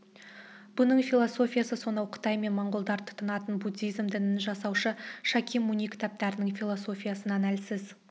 бұның философиясы сонау қытай мен монғолдар тұтынатын буддизм дінін жасаушы шакия муни кітаптарының философиясынан әлсіз